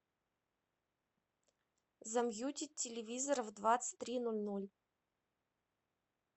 замьютить телевизора в двадцать три ноль ноль